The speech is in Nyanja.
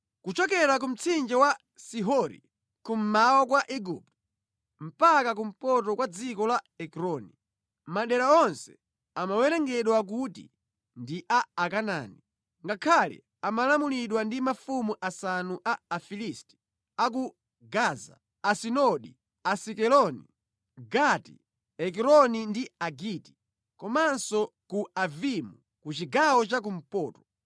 kuchokera ku mtsinje wa Sihori kummawa kwa Igupto mpaka kumpoto kwa dziko la Ekroni. Madera onse amawerengedwa kuti ndi a Akanaani ngakhale amalamulidwa ndi mafumu asanu a Afilisti a ku Gaza, Asidodi, Asikeloni, Gati, Ekroni ndi Agiti, komanso ku Avimu ku chigawo cha kumpoto.